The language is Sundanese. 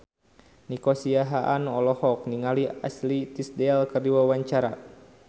Nico Siahaan olohok ningali Ashley Tisdale keur diwawancara